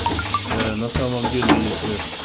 ээ на самом деле если